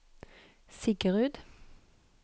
Siggerud